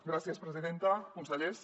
gràcies presidenta consellers